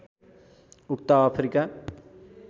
उक्त अफ्रिका